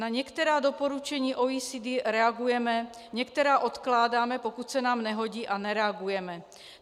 Na některá doporučení OECD reagujeme, některá odkládáme, pokud se nám nehodí, a nereagujeme.